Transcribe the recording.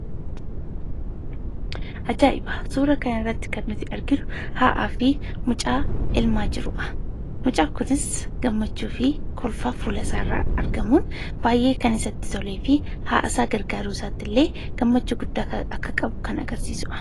Ajaa'iba! Suuraa kanarratti kan nuti arginu haadhaa fi mucaa elmaa jiruudha. Mucaan kunis gammachuu fi kolfa fuula isaarraa argamuun baay'ee kan isatti tolee fi haadha isaa gargaaruu isaatti illee gammachuu guddaa akka qabu kan agarsiisu dha.